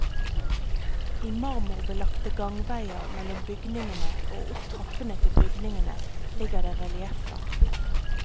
I marmorbelagte gangveier mellom byngningene og opp trappene til bygningene ligger det relieffer.